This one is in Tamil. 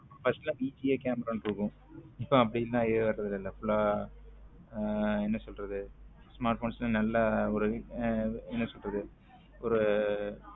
First எல்லாம் வி பி ஏ camara இருக்கும் இப்போ அப்படி எல்லாம் வர்றது இல்ல full ஆ என்ன சொல்றது smartphones ல நல்லா ஒரு என்ன சொல்றது ஒரு